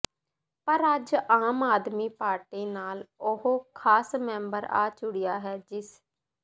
ਪਰ ਅੱਜ ਆਮ ਆਦਮੀ ਪਾਰਟੀ ਨਾਲ ਉਹ ਖਾਸ ਮੈਂਬਰ ਆ ਜੁੜਿਆ ਹੈ ਜਿਸ